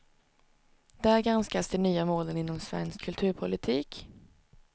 Där granskas de nya målen inom svensk kulturpolitik.